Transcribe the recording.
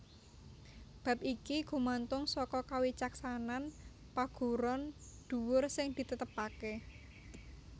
Bab iki gumantung saka kawicaksanan paguron dhuwur sing ditetepaké